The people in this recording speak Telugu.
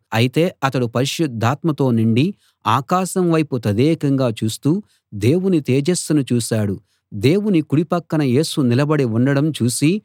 అయితే అతడు పరిశుద్ధాత్మతో నిండి ఆకాశం వైపు తదేకంగా చూస్తూ దేవుని తేజస్సును చూశాడు దేవుని కుడి పక్కన యేసు నిలబడి ఉండడం చూసి